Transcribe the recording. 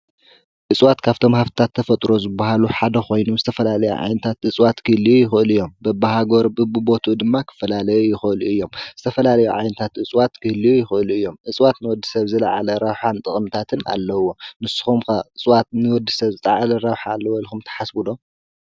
እፅዋት ካፍቶም ሃፍትታት ተፈጥሮ ዝበሃሉ ሓደ ኮይኑ ዝተፈላለዩ ዓይነታት እፅዋት ክህልዩ ይኽእሉ እዮም። በቢሃገሩ በቢቦትኡ ድማ ክፈላለዩ ይኽእሉ እዮም። ዝተፈላለዩ ዓይነታት እፅዋት ክህልዩ ይኽእሉ እዮም። እፅዋት ንወድሰብ ዝለዓለ ረብሓን ጥቅምታትን ኣለዎም። ንስኹም ከ እፅዋት ንወድሰብ ዝለዓለ ረብሓ ኣለዎ ኢልኩም ትሓስቡ ዶ?